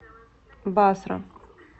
басра